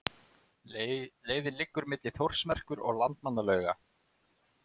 Leiðin liggur milli Þórsmerkur og Landmannalauga.